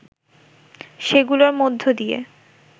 সেগুলোর মধ্য দিয়ে